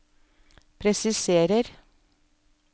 presiserer